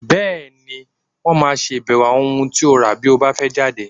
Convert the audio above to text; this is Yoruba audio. Bẹ́ẹ̀ni, Wọ́n máa ṣàbẹ̀wò àwọn ohun tí ó rà bí o bá fẹ́ jáde.